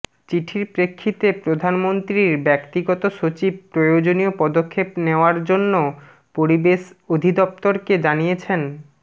চিঠির প্রেক্ষিতে প্রধানমন্ত্রীর ব্যক্তিগত সচিব প্রয়োজনীয় পদক্ষেপ নেওয়ার জন্য পরিবেশ অধিদফতরকে জানিয়েছেন